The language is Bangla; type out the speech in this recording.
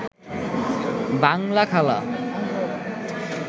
বাংলা খালা